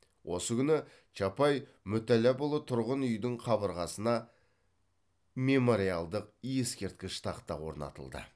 осы күні чапай мүтәлләпұлы тұрғын үйдің қабырғасына мемориалдық ескерткіш тақта орнатылды